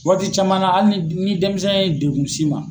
Waati caman na hali ni ni denmisɛn ye degun s'i ma.